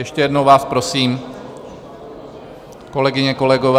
Ještě jednou vás prosím, kolegyně, kolegové...